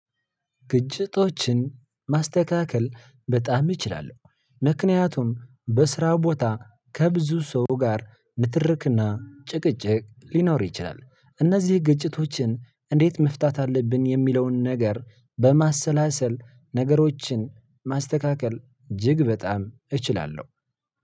ግጭቶችን ማስተካከል በጣም እችላለሁ ምክንያቱም በስራ ቦታ ከብዙ ሰው ጋር ንትርክና ጭቅጭቅ ሊኖር ይችላል እነዚህ ግጭቶችን እንዴት መፍታት አለብን የሚለውን ነገር በማሰላሰል ነገሮችን ማስተካከል እጅግ በጣም እችላለሁ።